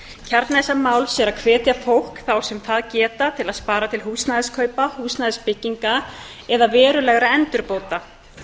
kjarni þessa máls er að hveta fólk þá sem það geta til að spara til húsnæðiskaupa húsnæðisbygginga eða verulegra endurbóta